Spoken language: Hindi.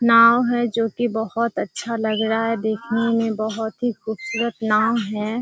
नाव है जो की बहुत अच्छा लग रहा है देखने में बहुत ही खूबसूरत नाव है।